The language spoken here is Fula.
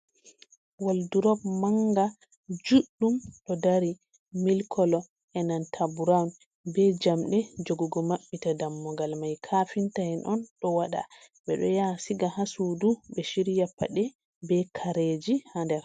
Waldurop manga juɗɗum ɗo dari milik kolo e'nanta burawun be jamɗe jogugo maɓɓita dammugal mai. kafinta en on ɗo waɗa, ɓeɗo ya siga haa sudu ɓe shirya paɗe be kareji haa nder.